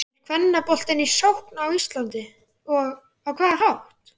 Er kvennaboltinn í sókn á Íslandi og á hvaða hátt?